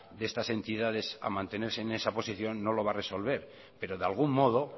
de estas entidades a mantenerse en esa posición no lo va a resolver pero de algún modo